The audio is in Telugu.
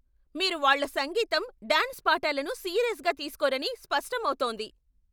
మీరు వాళ్ళ సంగీతం, డాన్స్ పాఠాలను సీరియస్గా తీస్కోరని స్పష్టం అవుతోంది.